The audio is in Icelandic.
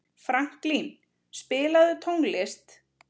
Franklín, spilaðu tónlist.